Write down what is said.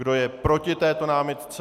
Kdo je proti této námitce?